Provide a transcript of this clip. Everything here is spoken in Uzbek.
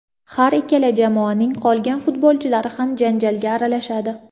Har ikkala jamoaning qolgan futbolchilari ham janjalga aralashadi.